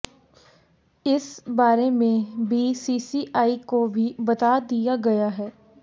इस बारे में बीसीसीआई को भी बता दिया गया है